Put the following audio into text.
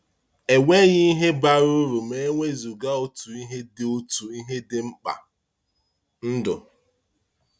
Enweghị ihe bara uru ma e wezuga otu ihe dị otu ihe dị mkpa — ndụ.